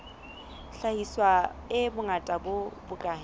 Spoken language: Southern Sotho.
hlahiswa e bongata bo bokae